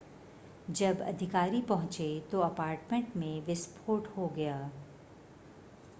जब अधिकारी पहुंचे तो अपार्टमेंट में विस्फोट हो गया